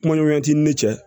Kuma ɲɔgɔnya t'i ni cɛ